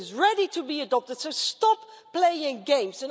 It is ready to be adopted, so stop playing games.